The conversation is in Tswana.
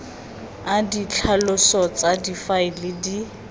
a ditlhaloso tsa difaele di